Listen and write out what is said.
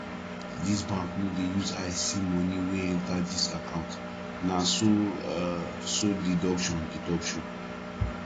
dis bank no dey use eye see moni wey enta dis account na so um so deduction deduction